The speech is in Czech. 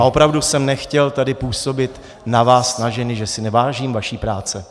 A opravdu jsem nechtěl tady působit na vás, na ženy, že si nevážím vaší práce.